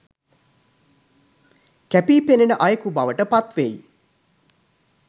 කැපී පෙනන අයෙකු බවට පත්වෙයි